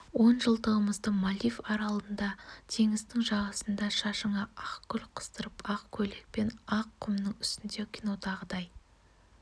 он жылдығымызды мальдив аралында теңіздің жағасында шашыңа ақ гүл қыстырып ақ көйлекпен ақ құмның үстінде кинодағыдай